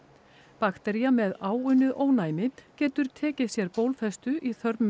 baktería með áunnið ónæmi getur tekið sér bólfestu í